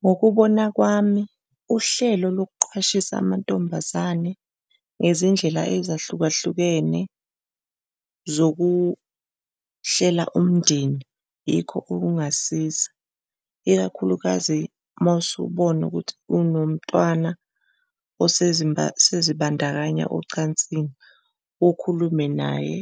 Ngokubona kwami, uhlelo lokuqwashisa amantombazane ngezindlela ezahlukahlukene zokuhlela umndeni, yikho okungasiza ikakhulukazi uma usubona ukuthi unomntwana osezibandakanya ocansini, ukhulume naye